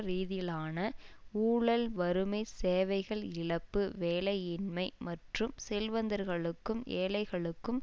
ரீதியிலான ஊழல் வறுமை சேவைகள் இழப்பு வேலையின்மை மற்றும் செல்வந்தர்களுக்கும் ஏழைகளுக்கும்